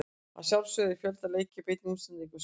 Að sjálfsögðu er fjölda leikja í beinni útsendingu á Sýn.